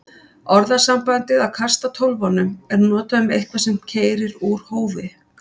Orðasambandið að kasta tólfunum er notað um eitthvað sem keyrir úr hófi.